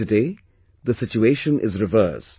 But, today the situation is reverse